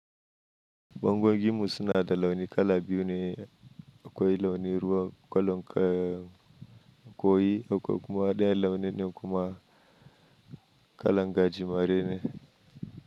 Bangogin mu suna da launi kala biyu ne, akwai launi ruwa ko lon koyi ko kuma ɗayan launi ne kuma kala gaji mare ne.